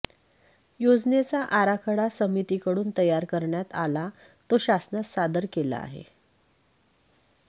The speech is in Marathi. योजनेचा आराखडा समितीकडून तयार करण्यात आला तो शासनास सादर केला आहे